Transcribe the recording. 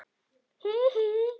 Hí, hí.